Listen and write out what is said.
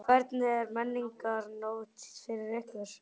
Hvernig er Menningarnótt fyrir ykkur?